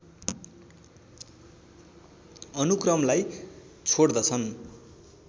अनुक्रमलाई छोड्दछन्